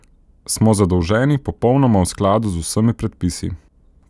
Smo zadolženi popolnoma v skladu z vsemi predpisi.